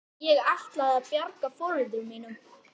Ég ætlaði að bjarga foreldrum mínum.